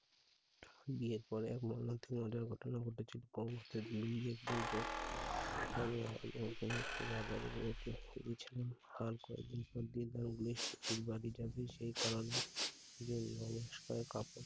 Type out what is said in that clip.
বিয়ের পরে আমার মতে মজার ঘটনা ঘটেছিলো, কনকের ময়ুলি এক দুর্গ বাজারের ব্যাগ নিয়ে গেছিলাম জিনিসপত্র bag এ যাবে সে কারণে জমিমানস্কায় কাপড়